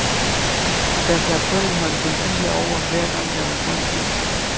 Der slap kun en håndfuld biler over, hver gang der var grønt lys.